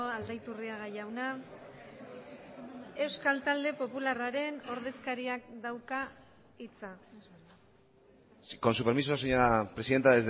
aldaiturriaga jauna euskal talde popularraren ordezkariak dauka hitza con su permiso señora presidenta